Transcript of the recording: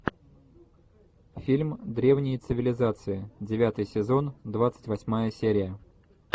фильм древние цивилизации девятый сезон двадцать восьмая серия